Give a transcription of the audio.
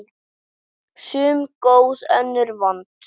Sum góð, önnur vond.